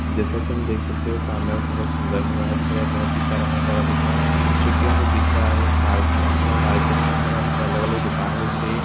जैसा की हम देख सकते है सामने हमको बहुत सुन्दर नज़ारा दिख रहा है बहुत ही प्यारा नज़ारा दिख रहा है जो की हमको दिख रहा है वो मार्केट दिख रहा है मार्केट के अंदर हमको अलग अलग दुकाने दिख रही है।